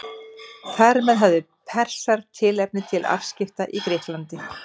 Þar með höfðu Persar tilefni til afskipta í Grikklandi.